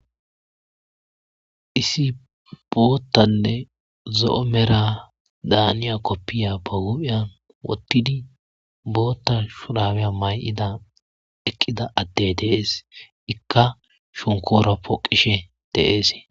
Isi boottanne zo'o mera daaniya koppiya ba guphiyan wottidi bootta shurawiya may7ida eqqida addey dees ikka shonkoora poqishe deees.